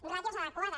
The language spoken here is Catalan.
ràtios adequades